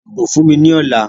Dibo fun mi ni ọla!